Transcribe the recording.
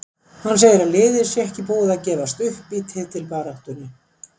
Hann segir að liðið sé ekki búið að gefast upp í titilbaráttunni.